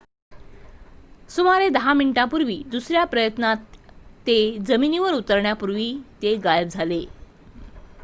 सुमारे 10 मिनिटांपूर्वी दुसऱ्या प्रयत्नात ते जमिनीवर उतरण्यापूर्वी ते गायब झाले